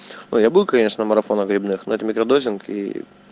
но я был конечно на марафонах грибных но это микродозинг и